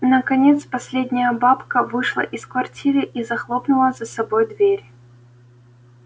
наконец последняя бабка вышла из квартиры и захлопнула за собой дверь